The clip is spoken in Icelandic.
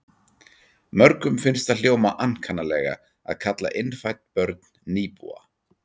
Mörgum finnst það hljóma ankannalega að kalla innfædd börn nýbúa.